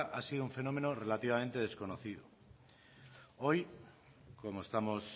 ha sido un fenómeno relativamente desconocido hoy como estamos